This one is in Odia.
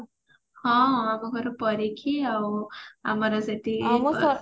ହଁ ଆମ ଘର ଆଉ ଏମତି